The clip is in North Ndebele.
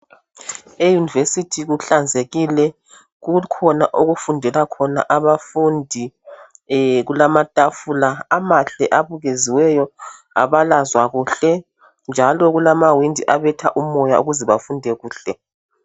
E"University " kuhlanzekile kukhona okufundela khona abafundi kulamatafula amahle abukeziweyo abalazwa kakuhle njalo kulamawindi abetha umoya ukuze bafunde kuhle.